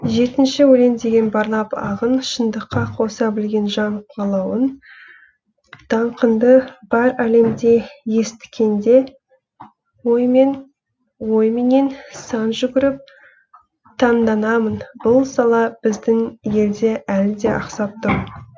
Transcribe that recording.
жетінші өлең деген барлап ағын шындыққа қоса білген жан қалауын даңқыңды бар әлемде есіткенде оймен ойменен сан жүгіріп таңданамын бұл сала біздің елде әлі де ақсап тұр